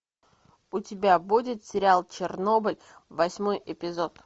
у тебя будет сериал чернобыль восьмой эпизод